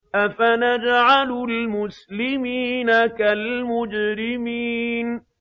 أَفَنَجْعَلُ الْمُسْلِمِينَ كَالْمُجْرِمِينَ